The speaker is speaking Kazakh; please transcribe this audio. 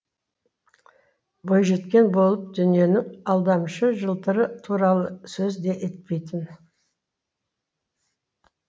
бойжеткен болып дүниенің алдамшы жылтыры туралы сөз де етпейтін